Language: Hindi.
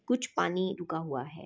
कुछ पानी रुका हुआ है।